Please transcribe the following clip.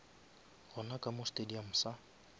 gona ka mo stadium sa